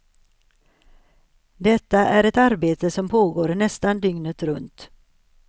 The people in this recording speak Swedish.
Detta är ett arbete som pågår nästan dygnet runt.